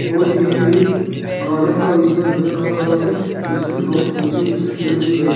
और यह एक गार्डन का एरिया नजर आ रहा है इसमें बहुत ऊंचे ऊंचे पेड़ भी है।